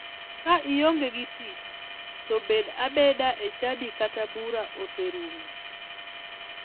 Ka ionge gi tich to bed abeda e chadi kata bura oserumo